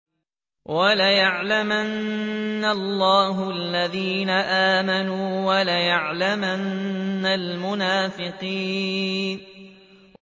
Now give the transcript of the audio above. وَلَيَعْلَمَنَّ اللَّهُ الَّذِينَ آمَنُوا وَلَيَعْلَمَنَّ الْمُنَافِقِينَ